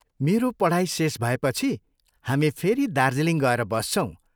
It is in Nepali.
मेरो पढाई शेष भएपछि हामी फेरि दार्जीलिङ गएर बस्छौं।